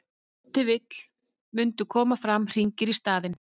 ef til vill mundu koma fram hringir í staðinn